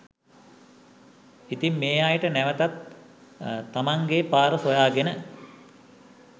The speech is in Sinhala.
ඉතින් මේ අයට නැවතත් තමනේගේ පාර සොයාගෙන